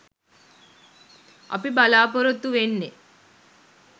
අපි බලාපොරොත්තු වෙන්නෙ.